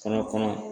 Ka na kɔnɔ